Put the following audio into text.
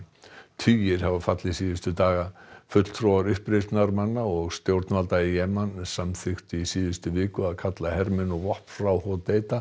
tugir hafa fallið síðustu daga fulltrúar uppreisnarmanna og stjórnvalda í Jemen samþykktu í síðustu viku að kalla hermenn og vopn frá